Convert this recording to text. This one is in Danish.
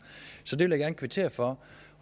så det vil jeg gerne kvittere for